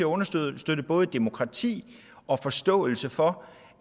understøtte både demokrati og forståelse for